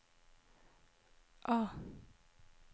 A